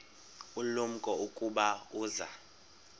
ulumko ukuba uza